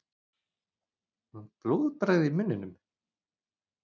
Blóðbragð í munninum.